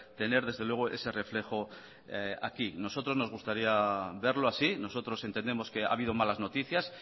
tener desde luego ese reflejo aquí nosotros nos gustaría verlo así nosotros entendemos que ha habido malas noticias